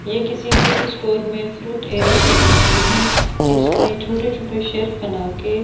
ये किसी super store में फ्रूट एरिये की तस्वीर है जिसमें छोटे छोटे शेल्फ बनाके--